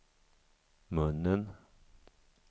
munnen